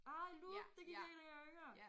Ej Loop det gik jeg i da jeg var yngre